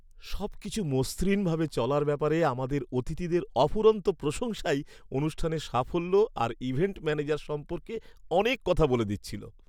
সবকিছু মসৃণ ভাবে চলার ব্যাপারে আমাদের অতিথিদের অফুরন্ত প্রশংসাই অনুষ্ঠানের সাফল্য আর ইভেন্ট ম্যানেজার সম্পর্কে অনেক কথা বলে দিচ্ছিল।